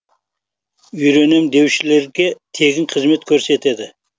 үйренем деушілерге тегін қызмет көрсетеді